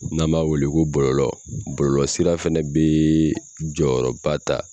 N'an b'a wele ko bɔlɔlɔ bɔlɔlɔ sira fɛnɛ bɛ jɔyɔrɔ ba ta